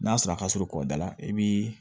N'a sɔrɔ a ka surun kɔ da la i bii